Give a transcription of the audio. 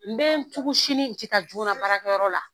N bɛ n tugun sini n tɛ taa joona barakɛ yɔrɔ la.